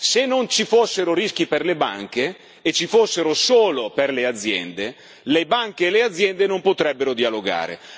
Se non ci fossero rischi per le banche e ci fossero solo per le aziende, le banche e le aziende non potrebbero dialogare.